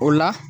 O la